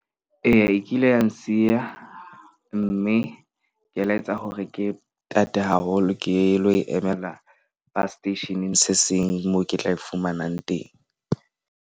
Eya, e kile ya nsiya mme ke la etsa hore ke tate haholo, ke lo e emela bus seteisheneng se seng le moo ke tla e fumanang teng.